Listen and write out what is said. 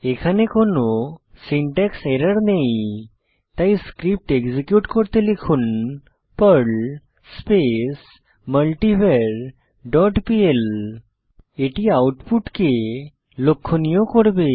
এখানে কোনো syntax error নেই তাই স্ক্রিপ্ট এক্সিকিউট করতে লিখুন Perl space multivar dot pl এটি আউটপুটকে লক্ষনীয় করবে